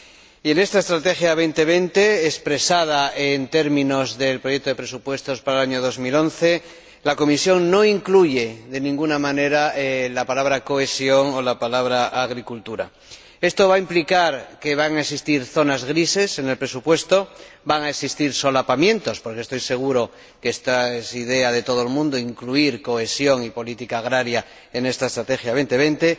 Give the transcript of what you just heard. Y en esta Estrategia 2020, expresada en términos del proyecto de presupuesto para el año 2011, la Comisión no incluye de ninguna manera la palabra cohesión o la palabra agricultura. Esto va a implicar que van a existir zonas grises en el presupuesto, van a existir solapamientos porque estoy seguro de que es la idea de todo el mundo incluir cohesión y política agraria en esta Estrategia 2020